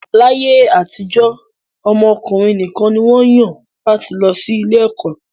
Láyé àtijọ́, ọmọ ọkùnrin nìkan ni wọ́n yàn láti lọ sí ilé ẹ̀kọ́